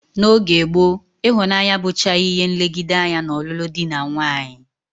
N'oge gboo, ịhụnanya abụchaghị ihe nlegide anya n'ọlụlụ dị na nwaanyị